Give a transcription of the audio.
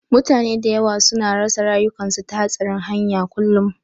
Mutane da yawa su na rasa rayukansu ta hatsarin hanya kullum